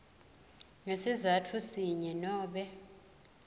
ngesizatfu sinye nobe